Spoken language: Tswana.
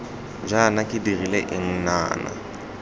jaana ke dirile eng nnana